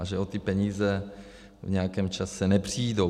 A že o ty peníze v nějakém čase nepřijdou.